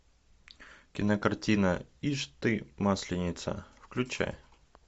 кинокартина ишь ты масленица включай